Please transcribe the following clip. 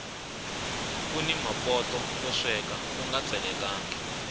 kuni mapoto yo sweka unga tselekangi